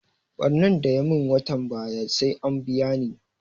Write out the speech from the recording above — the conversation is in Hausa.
Ɓarnan da ya mun watan baya sai an biya ni